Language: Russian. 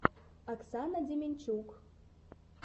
оксана демянчук